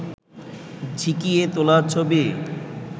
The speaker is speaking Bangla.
ঝিঁকিয়ে তোলা ছবি